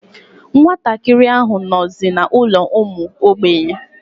Nwa ntakịrị ahụ nọzi n'ụlọ ụmụ ogbenye.